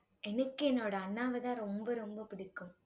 எனக்கு என்னோட அண்ணாவைதான், ரொம்ப ரொம்ப பிடிக்கும்